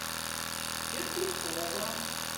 петухово